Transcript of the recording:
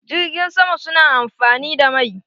Jirgin sama su na amfani da mai?